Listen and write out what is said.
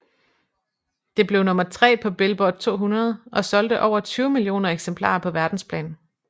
Det blev nummer tre på Billboard 200 og solgte over 20 millioner eksemplarer på verdensplan